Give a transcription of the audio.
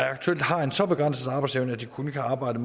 aktuelt har en så begrænset arbejdsevne at de kun kan arbejde